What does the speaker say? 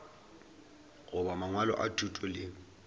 goba mangwalo a thuto le